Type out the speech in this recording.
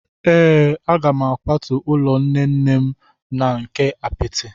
Ee, a ga m akwatu ụlọ nne nne m nke apịtị.